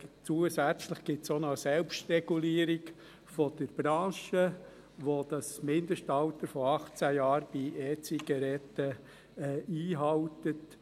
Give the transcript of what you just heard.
Zusätzlich gibt es auch noch eine Selbstregulierung der Branche, welche das Mindestalter von 18 Jahren bei E-Zigaretten einhält.